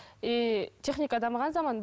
и техника дамыған заман